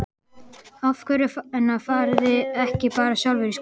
Af hverju fariði ekki bara sjálfar í skóla?